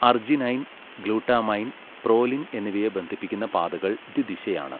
Arginine, glutamine, proline എന്നിവയെ ബന്ധിപ്പിക്കുന്ന പാതകൾ ദ്വിദിശയാണ്.